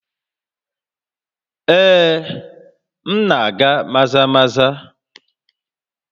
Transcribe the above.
Ee, m na-aga Maza-Maza